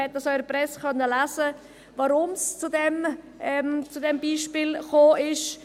man konnte es auch in der Presse lesen, warum es zu diesem Beispiel gekommen ist.